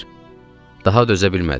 Daha dözə bilmədim.